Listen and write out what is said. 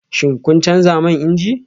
Shin kun canza man inji?